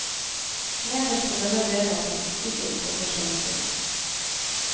Nederst på denne delen av statistikken kommer svenskene.